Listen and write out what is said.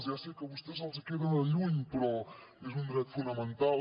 ja sé que a vostès els hi queden lluny però és un dret fonamental